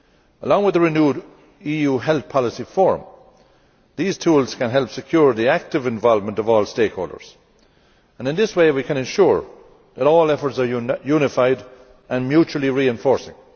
Along with the renewed EU Health Policy Forum, these tools can help secure the active involvement of all stakeholders, and in this way we can ensure that all efforts are unified and mutually reinforcing.